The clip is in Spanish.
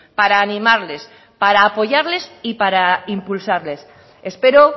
para animarles para apoyarles y para impulsarles espero